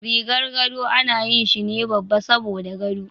Rigar gado ana yi shine babba saboda gado.